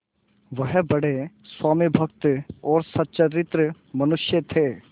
वह बड़े स्वामिभक्त और सच्चरित्र मनुष्य थे